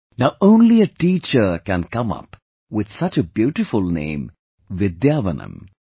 Now only a teacher can come up with such a beautiful name 'Vidyavanam'